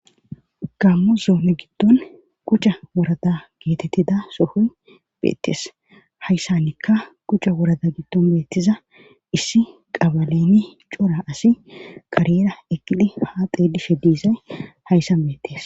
Gammo zoome giddon kuca worada geetettida sohoy beettees hayssannikka kuca worada giddon beettiza issi qabaleni cora asi kariyera eqidi haa xe dishe diizay hayssan beettes.